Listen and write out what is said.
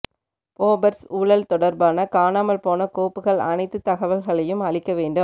Bofors ஊழல் தொடர்பான காணாமல் போன கோப்புகள் அனைத்து தகவல்களையும் அளிக்க வேண்டும்